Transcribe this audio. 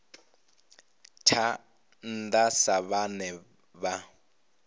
tsha nnda sa vhane vha